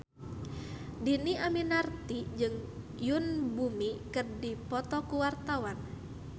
Dhini Aminarti jeung Yoon Bomi keur dipoto ku wartawan